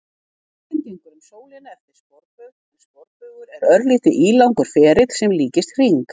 Jörðin gengur um sólina eftir sporbaug en sporbaugur er örlítið ílangur ferill sem líkist hring.